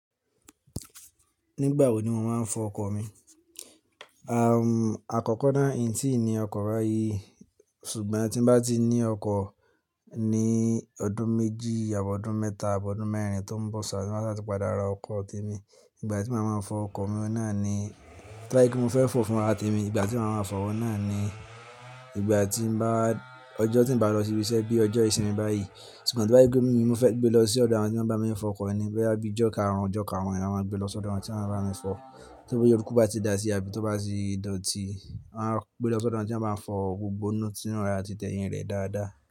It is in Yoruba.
Nígbà wo ni wọ́n máa ń fọ ọkọ̀ mi? Àkọ́kọ́ náà, ìntí ni ọkọ̀ báyìí ṣùgbọ́n tín bá ti ní ọkọ̀ ní ọdún méjì àbi ọdún mẹ́ta àbi ọdún mẹ́rin tó ń bọ̀ ṣáá tin báṣa tí padà ra ọkọ̀ ti mi. Ìgbà tí màá máa fọ ọkọ̀ mi ohun náà ni, to ba je pé mo fẹ́ fò fún ara temi ìgbà tí màá máa fọ̀ ohun na ni ìgbà tí n bá wa, ọjọ́ tí n bá lọ sí ibi iṣẹ́ bí ọjọ́ ìsinmi báyìí. Ṣùgbọ́n to bá sé pe mo fẹ́ gbé lọ sí ọ̀dọ̀ àwọn tí wọ́n bá máa ń fọ ọkọ̀ ni, tó bá jé bíi ọjọ́ karùn-ún, ọjọ́ karùn-ún ni eyan máa gbé lọ sí ọ̀dọ̀ àwọn tí wọ́n máa bami fọ. Teruku bá ti dà sí i àbí tó bá ti dọ̀tí, a máa gbé lọ sí ọ̀dọ̀ àwọn tí wọ́n máa bami fọ gbogbo inú tí inú rẹ̀ àti tẹyìn rẹ̀ dáadáa.